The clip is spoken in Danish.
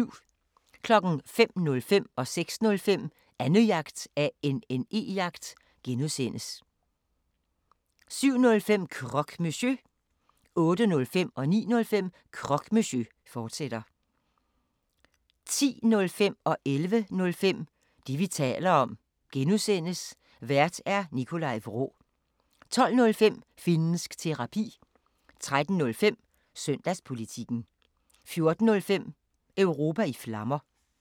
05:05: Annejagt (G) 06:05: Annejagt (G) 07:05: Croque Monsieur 08:05: Croque Monsieur, fortsat 09:05: Croque Monsieur, fortsat 10:05: Det, vi taler om (G) Vært: Nikolaj Vraa 11:05: Det, vi taler om (G) Vært: Nikolaj Vraa 12:05: Finnsk Terapi 13:05: Søndagspolitikken 14:05: Europa i Flammer